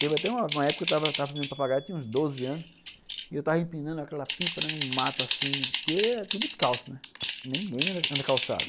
Teve até uma época que eu estava fazendo papagaio, tinha uns doze anos, e eu estava empinando aquela pipa num mato assim, porque era tudo escalso, ninguém anda calçado.